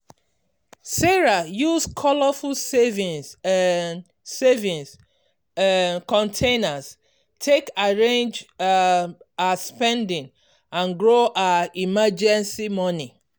sarah use colourful saving um saving um containers take arrange um her spending and grow her emergency money.